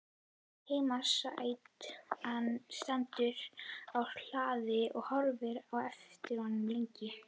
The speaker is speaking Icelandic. Heimasætan stendur á hlaðinu og horfir á eftir honum lengi.